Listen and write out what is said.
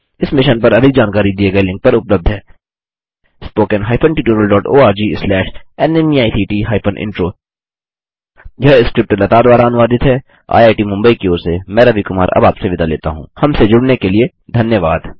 इस मिशन पर अधिक जानकारी दिए गए लिंक पर उपलब्ध है httpspoken tutorialorgNMEICT Intro यह स्क्रिप्ट लता द्वारा अनुवादित है हमसे जुड़ने के लिए धन्यवाद